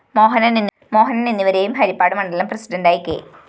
മോഹനന്‍ എന്നിവരെയും ഹരിപ്പാട് മണ്ഡലം പ്രസിഡന്റായി കെ